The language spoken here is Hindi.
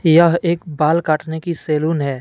यह एक बाल काटने की सैलून है।